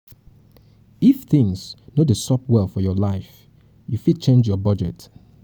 if things no dey sup well for your life you fit change your budget